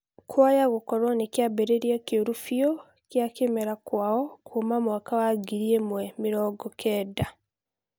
Kwayagukorwo nĩ kĩambirĩria kĩũru mbiu gĩa kĩmera kwao kũma mwaka wa ngiri ĩmwe mirongo kenda